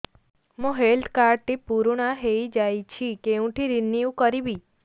ମୋ health card ଟି ପୁରୁଣା ହେଇଯାଇଛି କେଉଁଠି ରିନିଉ କରିବି